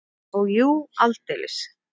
Og jú, aldeilis!